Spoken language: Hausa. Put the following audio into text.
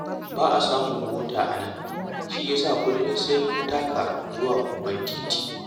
Ba a samun mota a nan, shi ya sa kullum sai mun taka zuwa babban titi